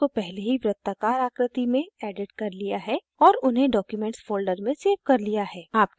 मैंने images को पहले ही वृर्त्ताकार आकृति में एडिट कर लिया है और उन्हें documents folder में सेव कर लिया है